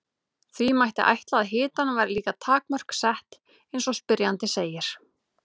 því mætti ætla að hitanum væri líka takmörk sett eins og spyrjandi segir